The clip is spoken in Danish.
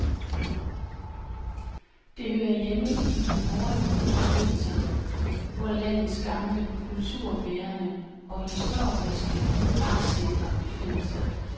Det hører hjemme i de nordlige provinser, hvor landets gamle kulturbærende og historiske magtcentre befinder sig.